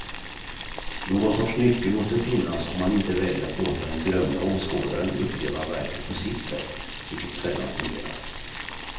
Någon sorts nyckel måste finnas om man inte väljer att låta den berömda åskådaren uppleva verket på sitt sätt, vilket sällan fungerar.